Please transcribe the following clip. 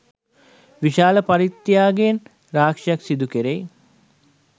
විශාල පරිත්‍යාගයන් රාශියක් සිදු කෙරෙයි.